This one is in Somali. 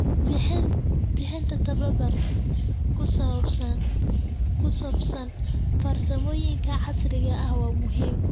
Bixinta tababar ku saabsan farsamooyinka casriga ah waa muhiim.